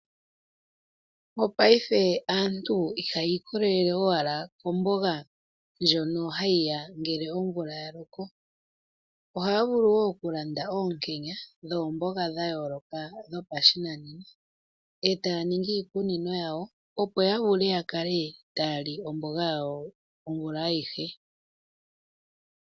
Mopaife aantu ihayi ikolele owala komboga ndjono hayiya ngele omvula yaloko . Ohaya vulu wo okulanda oonkenya dhoomboga dhayooloka dhopashinanena , etaya ningi iikunino yawo , opo ya vulu yakale taya li omboga yawo omvula aihe.